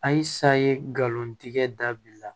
Ayisa ye galontigɛ dabila